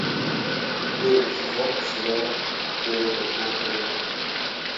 первый сезон сериал теория большого взрыва